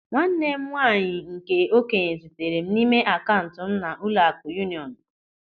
Nwanne m nwaanyị nke okenye zitere n'ime akaụntụ m na Ụlọaku Yunionu.